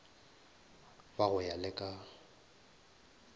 ba go ya le ka